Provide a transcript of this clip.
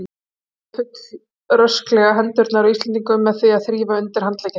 Hann hafði fullrösklega hendurnar á Íslendingunum með því að þrífa undir handleggi þeirra.